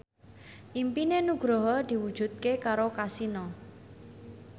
impine Nugroho diwujudke karo Kasino